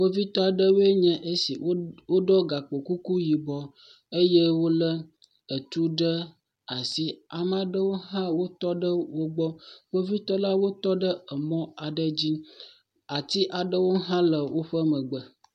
Kpovitɔ aɖewoe nye esi. Woɖɔ gakpokuku yibɔ eye wolé etu ɖe asi. Ame aɖewo hã wotɔ ɖe wogbɔ. Kpovitɔla wotɔ ɖe emɔ aɖe dzi. Ati aɖewo hã le woƒe megbe